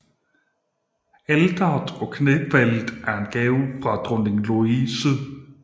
Alteret og knæfaldet er en gave fra dronning Louise